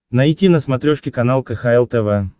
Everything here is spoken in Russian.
найти на смотрешке канал кхл тв